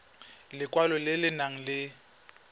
lekwalo le le nang le